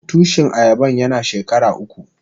Tushin ayaban yana shekara uku.